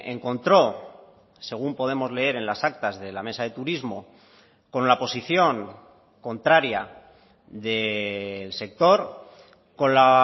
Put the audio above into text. encontró según podemos leer en las actas de la mesa de turismo con la posición contraria del sector con la